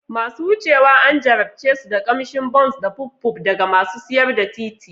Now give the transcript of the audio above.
Masu wucewa an jarabce su da ƙamshin Bounce da Puffpuff daga masu siyar da titi.